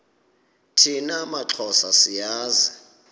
thina maxhosa siyazi